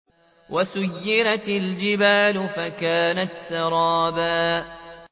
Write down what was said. وَسُيِّرَتِ الْجِبَالُ فَكَانَتْ سَرَابًا